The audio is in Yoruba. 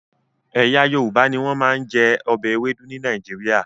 Ẹ̀yà Yorùbá ni wọ́n máa ń jẹ ọbẹ̀ Ewedu ní Nàìjíríà